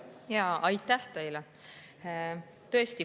Jaa, aitäh teile!